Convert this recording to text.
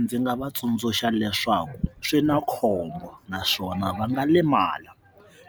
Ndzi nga va tsundzuxa leswaku swi na khombo naswona va nga limala